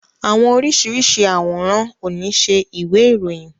Àwọn oríṣiríṣi aworan o ni ṣe ìwé ìròyìn.